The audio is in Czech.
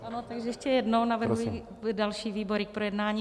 Ano, tak ještě jednou navrhuji další výbory k projednání.